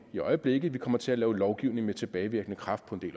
i øjeblikket vi kommer til at lave lovgivning med tilbagevirkende kraft på en